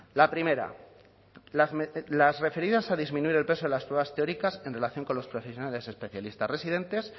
la primera las referidas a disminuir el peso de las pruebas teóricas en relación con los profesionales especialistas residentes